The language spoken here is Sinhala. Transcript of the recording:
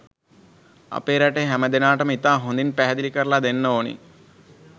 අපේ රටේ හැම දෙනාටම ඉතා හොඳින් පැහැදිලි කරලා දෙන්න ඕනෙ.